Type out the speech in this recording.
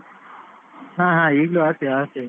ಹಾ ಹಾ ಈಗ್ಲೂ ಆಡ್ತೇನೆ ಆಡ್ತೇನೆ